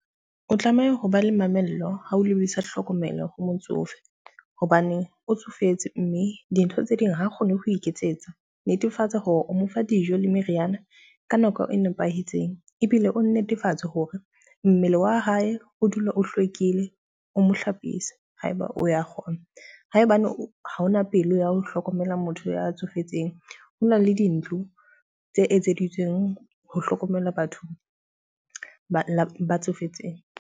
O tlameha hoba le mamello ha o lebisa hlokomelo ho motsofe hobane o tsofetse, mme dintho tse ding ha kgone ho iketsetsa. Netefatsa hore o mo fa dijo le meriana ka nako e nepahetseng ebile o netefatse hore mmele wa hae o dule o hlwekile, o mo hlapisa ha eba o ya kgona. Ha ebane ha ona pelo ya ho hlokomela motho ya tsofetseng, ho na le dintlo tse etseditsweng ho hlokomela batho ba tsofetseng.